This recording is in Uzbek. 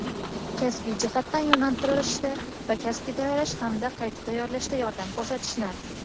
kasbiy jihatdan yo‘naltirishda va kasbga tayyorlash hamda qayta tayyorlashda yordam ko‘rsatishni;.